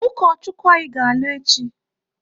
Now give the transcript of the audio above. Ụkọchukwu anyị ga-alụ echi.